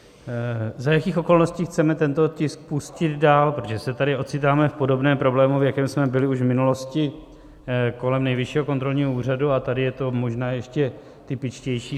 za jakých okolností chceme tento tisk pustit dál, protože se tady ocitáme v podobném problému, v jakém jsme byli už v minulosti kolem Nejvyššího kontrolního úřadu, a tady je to možná ještě typičtější.